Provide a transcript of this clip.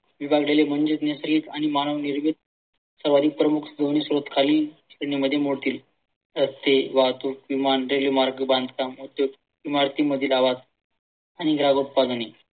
रस्ते, वाहतूक, विमान, रेल्वे मार्ग, बांधकाम, इमारतींमधील आवाज